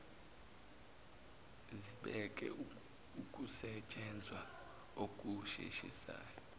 zibeke ukusetshenzwa okusheshisayo